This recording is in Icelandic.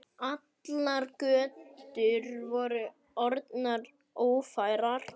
Allar götur voru orðnar ófærar.